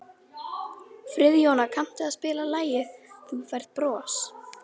Friðjóna, kanntu að spila lagið „Þú Færð Bros“?